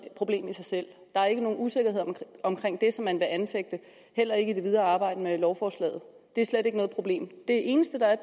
problem i sig selv der er ikke nogen usikkerhed omkring det som man vil anfægte heller ikke i det videre arbejde med lovforslaget det er slet ikke noget problem det eneste der er